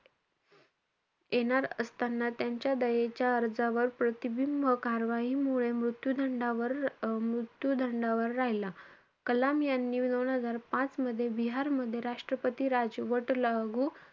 येणार असताना त्यांच्या दयेच्या अर्जावर, प्रतिबिंब कार्यवाईमुळे मृत्यू दंडावर~ मृत्यू दंडावर राहिला. कलाम यांनी दोन हजार पाच मध्ये बिहारमध्ये राष्ट्रपती राजवट लागू,